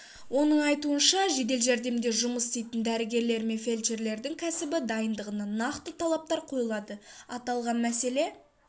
оның айтуынша жедел жәрдемде жұмыс істейтін дәрігерлер мен фельдшерлердің кәсіби дайындығына нақты талаптар қойылады аталған мәселе